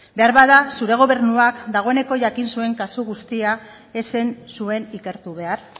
beharbada zure gobernuak dagoeneko jakin zuen kasu guztia ez zen zuen ikertu behar